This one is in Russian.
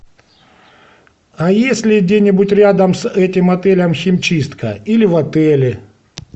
а есть ли где нибудь рядом с этим отелем химчистка или в отеле